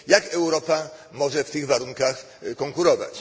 Jak Europa może w tych warunkach konkurować?